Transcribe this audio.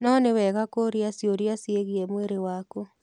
No nĩ wega kũũria ciũria ciĩgiĩ mwĩrĩ waku.